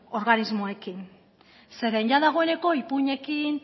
organismoekin zeren ia dagoeneko ipuinekin